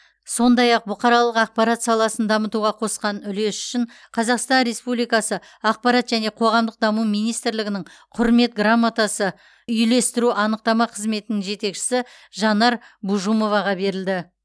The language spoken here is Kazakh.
сондай ақ бұқаралық ақпарат саласын дамытуға қосқан үлесі үшін қазақстан республикасы ақпарат және қоғамдық даму министрлігінің құрмет грамотасы үйлестіру анықтама қызметінің жетекшісі жанар бужумоваға берілді